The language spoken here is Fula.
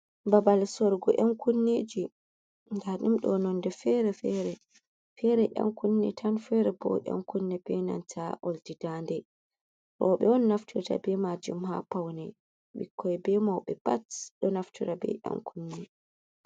Babal sorgo ƴan kunneji, nda ɗum ɗo nonde fere fere. fere ƴan kunne tan, fere bo ƴan kunne benanta oldi dande. roɓe on naftirta be majum ha paune ɓikkoi, be mauɓe pat ɗo naftora be ƴan kunne.